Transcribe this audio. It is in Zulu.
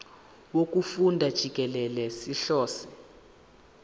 wokufunda jikelele sihlose